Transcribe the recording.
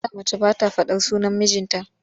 A da mace ba ta faɗar sunan mijinta.